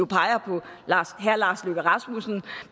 peger på herre lars løkke rasmussen